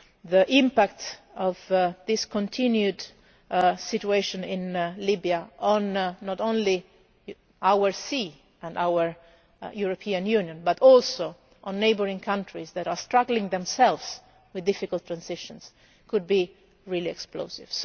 future. The impact of this continued situation in Libya on not only our sea and our European Union but also on neighbouring countries that are struggling themselves with difficult transitions could be really